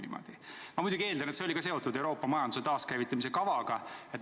Ma muidugi eeldan, et see oli seotud Euroopa majanduse taaskäivitamise kavaga.